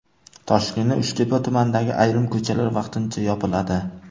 Toshkentning Uchtepa tumanidagi ayrim ko‘chalar vaqtincha yopiladi.